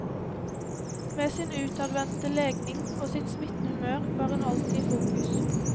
Med sin utadvendte legning og sitt smittende humør var hun alltid i fokus.